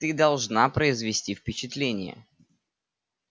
ты должна произвести впечатление